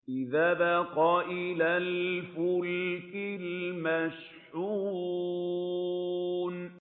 إِذْ أَبَقَ إِلَى الْفُلْكِ الْمَشْحُونِ